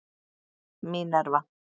Mínerva